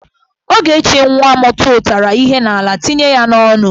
Ogechi nwa m tụtara ihe n'ala tinye ya n'onu.